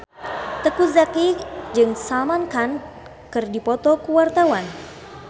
Teuku Zacky jeung Salman Khan keur dipoto ku wartawan